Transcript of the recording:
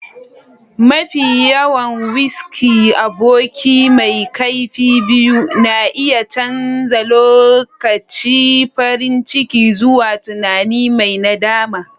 Mafi kyawun-whisky, aboki mai kaifi biyu, na iya canza lokacin farin ciki zuwa tunani mai nadama.